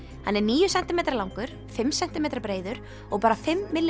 hann er níu sentímetra langur fimm sentímetra breiður og bara fimm